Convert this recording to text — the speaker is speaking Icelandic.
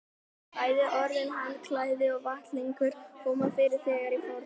Bæði orðin handklæði og vettlingur koma fyrir þegar í fornu máli.